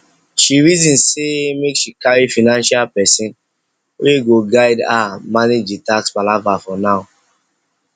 she reason say make she carry financial person wey go guide her manage the tax palava for now